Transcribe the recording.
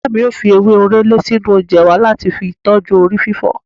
Ìyá mi ó fi ewé orele sínú oúnjẹ wa láti fi tọju orí fífọ́